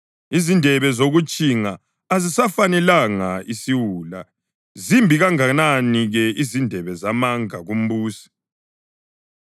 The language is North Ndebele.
Izindebe zokutshinga azisifanelanga isiwula zimbi kangakanani ke izindebe zamanga kumbusi!